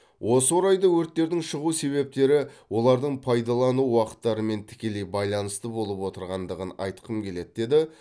осы орайда өрттердің шығу себептері олардың пайдалану уақыттарымен тікелей байланысты болып отырғандығын айтқым келеді дейді